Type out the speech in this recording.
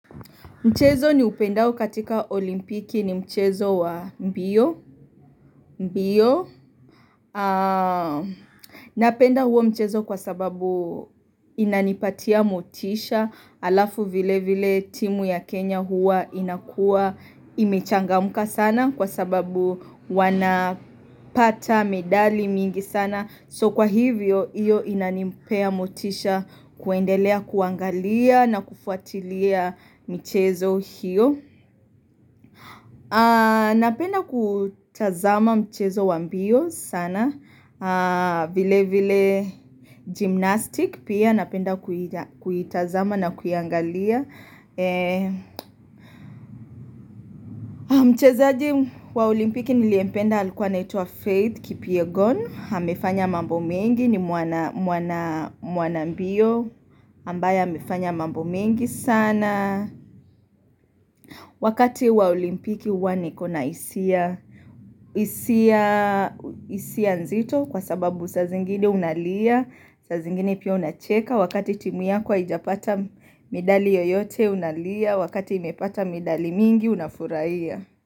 Mchezo niupendao katika olimpiki ni mchezo wa mbio. Napenda huo mchezo kwa sababu inanipatia motisha alafu vile vile timu ya Kenya hua inakua imechangamka sana kwa sababu wanapata medali mingi sana. So kwa hivyo, iyo inanipea motisha kuendelea kuangalia na kufuatilia michezo hiyo. Napenda kutazama mchezo wa mbio sana. Vile vile gymnastic pia napenda kuitazama na kuiangalia. Mchezaji wa olimpiki niliyempenda alikuwa aitwa faith kipyegon. Amefanya mambo mengi ni mwana mbio. Ambaye amefanya mambo mengi sana Wakati wa olimpiki hua nikona hisia nzito Kwa sababu sa zingine unalia saa zingine pia unacheka Wakati timu yako haijapata medali yoyote unalia Wakati imepata medali mingi unafurahia.